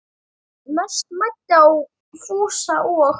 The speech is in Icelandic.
Mest mæddi á Fúsa og